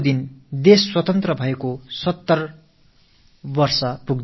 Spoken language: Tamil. ஆகஸ்ட் மாதம் 15ஆம் தேதியொடு நாடு சுதந்திரம் அடைந்து 70 ஆண்டுகள் ஆகின்றன